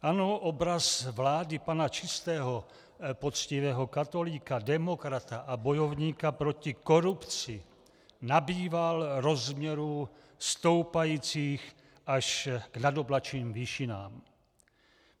Ano, obraz vlády pana čistého, poctivého katolíka, demokrata a bojovníka proti korupci nabýval rozměru stoupajícího až k nadoblačným výšinám.